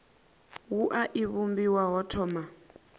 wua i vhumbiwa ho thoma